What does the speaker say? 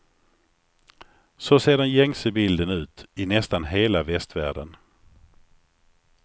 Så ser den gängse bilden ut i nästan hela västvärlden.